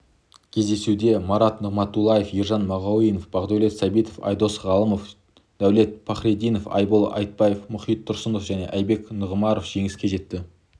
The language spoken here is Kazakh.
кездесуде марат нығматұллаев ержан мағауинов бақдәулет сәбитов айдос ғалымов дәулет пахрединов айбол айтбек мұхит тұрсынов және айбек нұғымаров жеңіске жетті